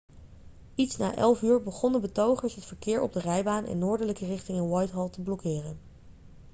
iets na 11.00 uur begonnen betogers het verkeer op de rijbaan in noordelijke richting in whitehall te blokkeren